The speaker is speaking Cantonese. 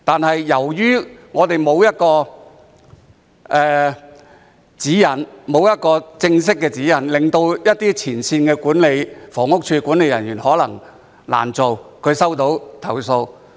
可是，由於我們沒有正式的指引，以致一些前線的房屋署管理人員在收到投訴後或會難以處理。